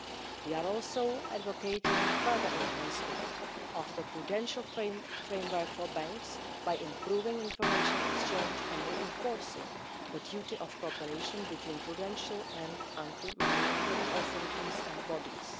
We are also advocating further enhancement of the prudential framework for banks by improving information exchange and reinforcing the duty of cooperation between prudential and anti money laundering authorities and bodies.